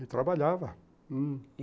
Ele trabalhava.